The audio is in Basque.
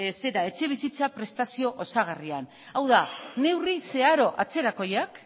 etxebizitza prestazio osagarrian hau da neurri zeharo atzerakoiak